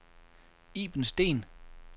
Iben Steen